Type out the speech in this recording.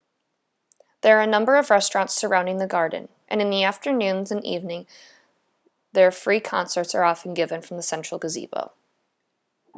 there are a number of restaurants surrounding the garden and in the afternoons and evening there free concerts are often given from the central gazebo